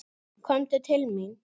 Komdu til mín!